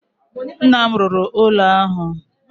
Nna m rụrụ ụlọ ahụ.